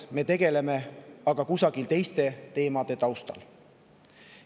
Me tegeleme, aga kusagil teiste teemade taustal.